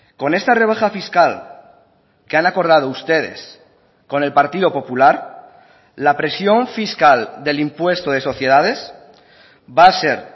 con esta rebaja fiscal que han acordado ustedes con el partido popular la presión fiscal del impuesto de sociedades va a ser